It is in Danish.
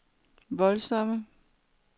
voldsomme